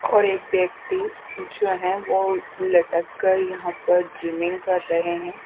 और एक व्यक्ति जो है वो लटक कर यहां पे जिमिंग कर रहे हैं।